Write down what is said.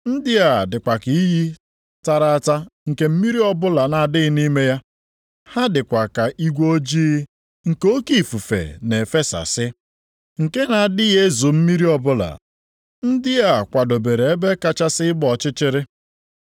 Ndị a dịkwa ka iyi tara ata nke mmiri ọbụla na-adịghị nʼime ya. Ha dịkwa ka igwe ojii nke oke ifufe na-efesasị, nke na-adịghị ezo mmiri ọbụla. Ndị a kwadobere ebe kachasị ịgba ọchịchịrị.